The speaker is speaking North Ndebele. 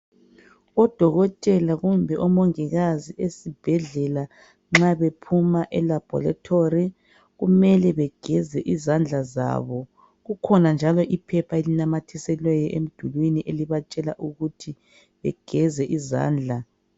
Odokotela kumbe omongikazi ezibhedlela nxa bephuma elabhorethi kumele begeze izandla zabo. Kukhona njalo iphepha elinamathiselweyo emdulwini ekibatshela ukuthi begeze izandla.